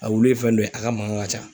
A wuli ye fɛn dɔ ye , a ka mankan ka ca.